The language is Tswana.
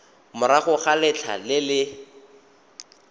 morago ga letlha le le